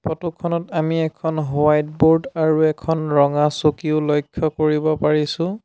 Photo খনত আমি এখন হোৱাইট ব'ৰ্ড আৰু এখন ৰঙা চকীও লক্ষ্য কৰিব পাৰিছোঁ।